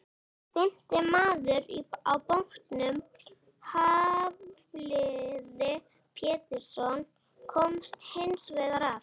Fimmti maður á bátnum, Hafliði Pétursson, komst hins vegar af.